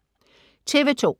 TV 2